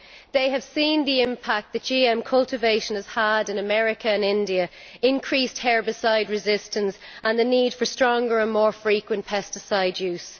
They have seen the impact that GM cultivation has had in America and India increased herbicide resistance and the need for stronger pesticides and more frequent pesticide use.